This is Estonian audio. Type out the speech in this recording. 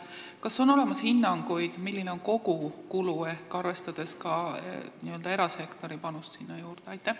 Kas on olemas hinnanguid, milline on kogukulu, arvestades ka erasektori panust sinna juurde?